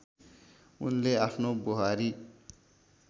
उनले आफ्नो बुहारी